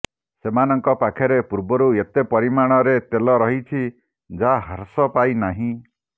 ସେମାନଙ୍କ ପାଖରେ ପୂର୍ବରୁ ଏତେ ପରିମାଣରେ ତେଲ ରହିଛି ଯାହା ହ୍ରାସ ପାଇ ନାହିଁ